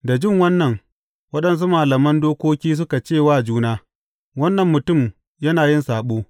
Da jin wannan, waɗansu malaman dokoki suka ce wa juna, Wannan mutum yana yin saɓo!